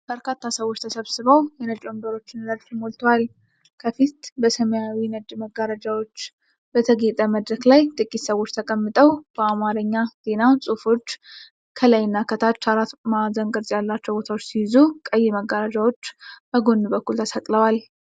በርካታ ሰዎች ተሰብስበው የነጭ ወንበሮችን ረድፍ ሞልተውታል። ከፊት በሰማያዊና ነጭ መጋረጃዎች በተጌጠ መድረክ ላይ ጥቂት ሰዎች ተቀምጠው ። በአማርኛ ዜና ጽሑፎች ከላይና ከታች አራት ማዕዘን ቅርጽ ያላቸው ቦታዎች ሲይዙ፣ ቀይ መጋረጃዎች በጎን በኩል ተሰቅለዋል።